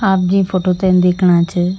आप जी फोटो ते दिखणा च --